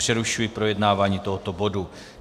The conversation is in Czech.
Přerušuji projednávání tohoto bodu.